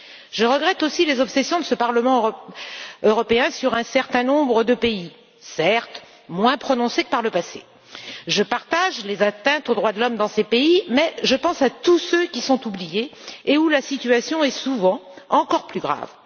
Je regrette aussi les obsessions de ce Parlement européen sur un certain nombre de pays, certes moins prononcées que par le passé. Je reconnais les atteintes aux droits de l'homme qui sont commises dans ces pays, mais je pense à tous ceux qui sont oubliés et où la situation est souvent encore plus grave.